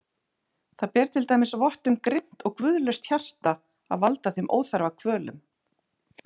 Það ber til dæmis vott um grimmt og guðlaust hjarta að valda þeim óþarfa kvölum.